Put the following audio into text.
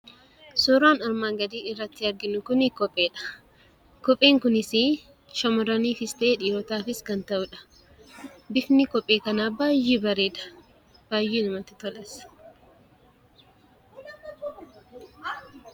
Suuraa armaan gadii irratti arginu kun kopheedha. Kopheen kunis shammarraniifis ta'e dhiirotaafis kan ta'udha. Bifni kophee kanaa baay'ee bareeda. Baay'ee namatti tolas.